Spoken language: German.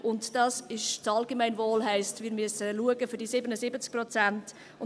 Und das Allgemeinwohl heisst: Wir müssen für diese 77 Prozent schauen.